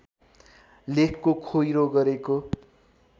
लेखको खोइरो गरेको